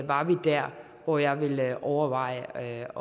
var vi der hvor jeg ville overveje